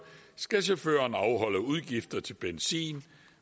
skal chaufføren afholde udgifter til benzin